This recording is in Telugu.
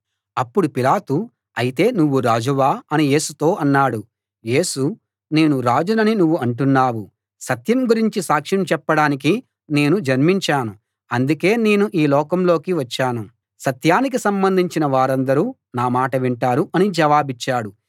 అప్పుడు పిలాతు అయితే నువ్వు రాజువా అని యేసుతో అన్నాడు యేసు నేను రాజునని నువ్వు అంటున్నావు సత్యం గురించి సాక్ష్యం చెప్పడానికి నేను జన్మించాను అందుకే నేను ఈ లోకంలోకి వచ్చాను సత్యానికి సంబంధించిన వారందరూ నా మాట వింటారు అని జవాబిచ్చాడు